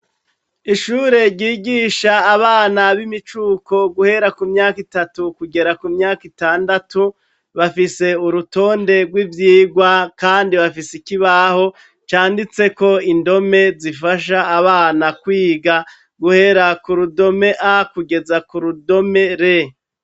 Ishure ryigisha abana b'imicuko guhera ku myaka itatu kugera ku myaka itandatu, bafise urutonde rw'ivyigwa kandi bafise ikibaho canditseko indome zifasha abana kwiga guhera ku rudome a kugeza ku rudome r.